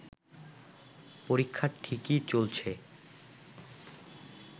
পরীক্ষা ঠিকই চলছে